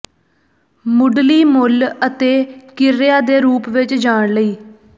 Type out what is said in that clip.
ਮੁੱਢਲੀ ਮੁੱਲ ਅਤੇ ਕ੍ਰਿਆ ਦੇ ਰੂਪ ਵਿੱਚ ਜਾਣ ਲਈ